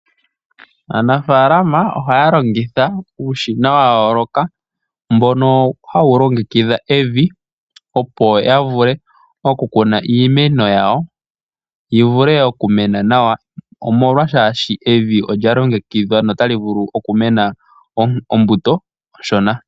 Aafalama ohaya longitha uushina wa yooloka mbono hawu longekidha evi opo ya vule okukuna iimeno yawo yi vule okumena nawa, omolwaa shaashi evi olya longekidhwa notali vulu okumena ombuto onshona.